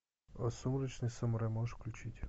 а сумрачный самурай можешь включить